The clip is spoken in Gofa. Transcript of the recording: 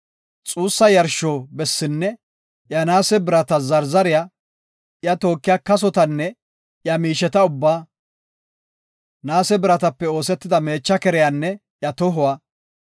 xuussa yarsho bessinne iya naase birata zarzariya, iya tookiya kasotanne iya miisheta ubbaa, naase biratape oosetida meecha keriyanne iya tohuwa;